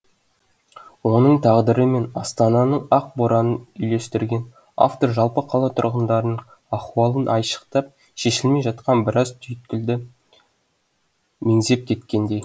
оның тағдыры мен астананың ақ боранын үйлестірген автор жалпы қала тұрғындарының ахуалын айшықтап шешілмей жатқан біраз түйіткілді меңзеп кеткендей